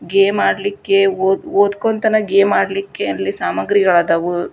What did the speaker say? Game ಆಡ್ಲಿಕ್ಕೆ ಒ ಓದ್ಕೊಂತಾನೆ ಗೇಮ್ ಆಡ್ಲಿಕ್ಕೆ ಅಲ್ಲಿ ಸಾಮಗ್ರಿಗಳಾದವು.